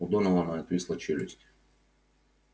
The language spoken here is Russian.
у донована отвисла челюсть